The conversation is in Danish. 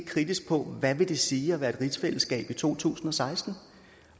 kritisk på hvad det vil sige at være et rigsfællesskab i to tusind og seksten